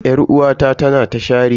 Yar'uwata tana ta shareni.